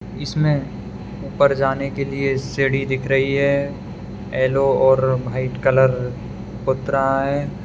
इसमें ऊपर जाने के लिए सीढ़ी दिख रही है येलो और व्हाइट कलर पूत रहा है।